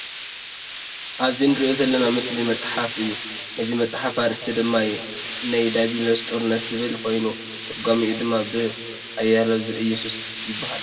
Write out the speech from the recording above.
ኣብዚ እንርእዮ ዘለና ምስሊ መፅሓፋ እዩ ። ናይዚ መፅሓፍ ኣርእስቲ ደማ "ናይ ድያብሎስ ጦርነት" ዝብል ኮይኑ ቶርጓሚኡ ድማ ብ "ኣያለው ዘእዮስስ" ይበሃል ።